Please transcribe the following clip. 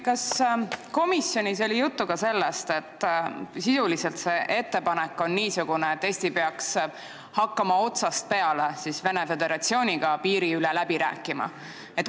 Kas komisjonis oli juttu ka sellest, et sisuliselt on see ettepanek niisugune, et Eesti peaks hakkama otsast peale Venemaa Föderatsiooniga piiri üle läbi rääkima?